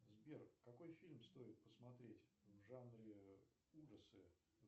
сбер какой фильм стоит посмотреть в жанре ужасы